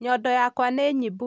Nyondo yakwa nĩnyibu